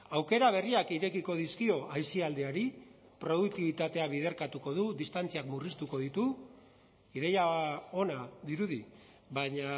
aukera berriak irekiko dizkio aisialdiari produktibitatea biderkatuko du distantziak murriztuko ditu ideia ona dirudi baina